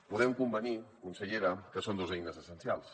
podem convenir consellera que són dos eines essencials